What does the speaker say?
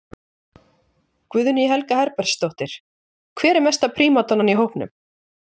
Guðný Helga Herbertsdóttir: Hver er mesta prímadonnan í hópnum?